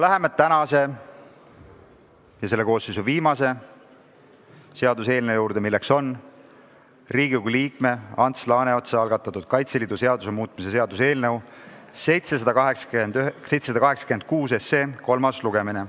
Läheme tänase päeva ja selle koosseisu viimase seaduseelnõu juurde, milleks on Riigikogu liikme Ants Laaneotsa algatatud Kaitseliidu seaduse muutmise seaduse eelnõu kolmas lugemine.